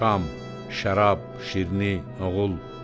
Şam, şərab, şirni, oğul.